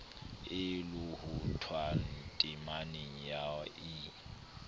e lohothwang temaneng ya i